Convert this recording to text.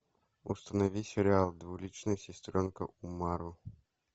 установи сериал двуличная сестренка умару